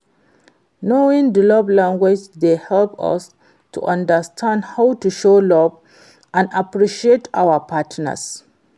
knowing di love language dey help us to understand how to show love and appreciation to our partners.